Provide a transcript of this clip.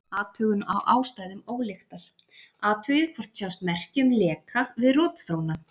Athugun á ástæðum ólyktar: Athugið hvort sjást merki um leka við rotþróna.